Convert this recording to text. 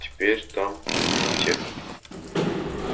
а теперь там аптека